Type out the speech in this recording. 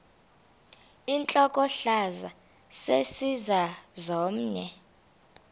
intlokohlaza sesisaz omny